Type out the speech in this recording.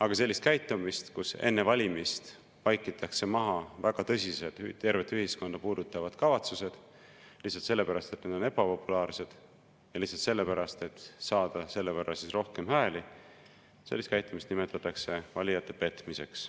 Aga sellist käitumist, kus enne valimist vaikitakse maha väga tõsised tervet ühiskonda puudutavad kavatsused lihtsalt sellepärast, et need on ebapopulaarsed, ja lihtsalt sellepärast, et saada selle võrra rohkem hääli, nimetatakse valijate petmiseks.